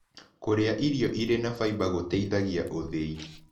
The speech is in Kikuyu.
Kũrĩa irio ĩrĩ na faĩba gũteĩthagĩa ũthĩĩ